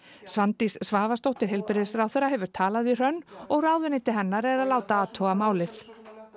Svandís Svavarsdóttir heilbrigðisráðherra hefur talað við Hrönn og ráðuneyti hennar er að láta athuga málið